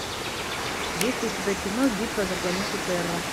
есть ли у тебя кино битва за планету терра